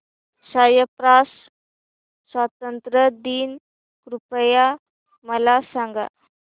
Cyprus स्वातंत्र्य दिन कृपया मला सांगा